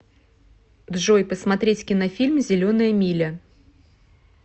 джой посмотреть кинофильм зеленая миля